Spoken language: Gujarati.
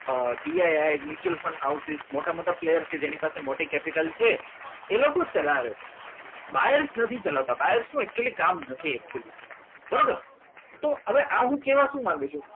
B I mutual fund house મોટા મોટા player કે જેની સાથે જેની પાસે મોટી capital છે એ લોકો જ ચલાવે મારે નથી ચલાવતી ચલાવતા બાયર શું એક્ચ્યુલી કામ નથી બરાબર તો હવે આ શું કહેવા શું માંગો છો